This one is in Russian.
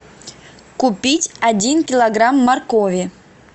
купить один килограмм моркови